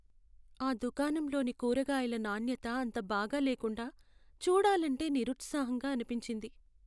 ఆ దుకాణంలోని కూరగాయల నాణ్యత అంత బాగా లేకుండా, చూడాలంటే నిరుత్సాహంగా అనిపించింది.